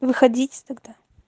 выходите тогда